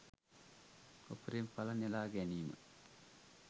උපරිම ඵල නෙළා ගැනීම